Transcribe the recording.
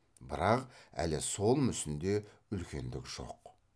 бірақ әлі сол мүсінде үлкендік жоқ